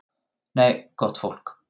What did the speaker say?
Nei, gott fólk.